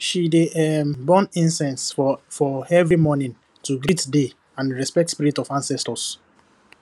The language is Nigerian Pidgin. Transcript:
she dey um burn incense for for every morning to greet day and respect spirit of ancestors